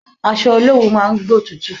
Aṣọ olowu máa ń gbótútù.